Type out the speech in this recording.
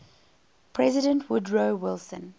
president woodrow wilson